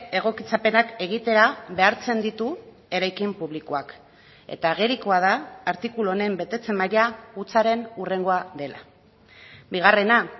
egokitzapenak egitera behartzen ditu eraikin publikoak eta agerikoa da artikulu honen betetze maila hutsaren hurrengoa dela bigarrena